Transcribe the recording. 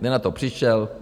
Kde na to přišel?